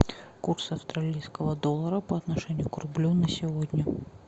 курс австралийского доллара по отношению к рублю на сегодня